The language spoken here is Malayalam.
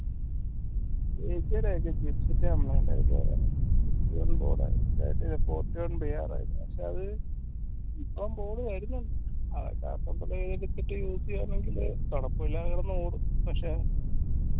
പക്ഷെ അത് ഇപ്പം board വരുന്നിണ്ട് use യ്യാം കൊഴപ്പില്ലാതെ കിടന്ന് ഓടും പക്ഷെ